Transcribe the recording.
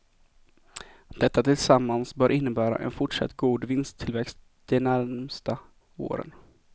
Detta tillsammans bör innebära en fortsatt god vinsttillväxt de närmsta åren.